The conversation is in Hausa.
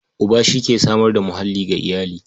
Uba shi ke samar da muhalli ga iyali.